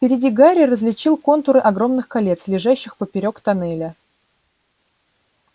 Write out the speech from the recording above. впереди гарри различил контуры огромных колец лежащих поперёк тоннеля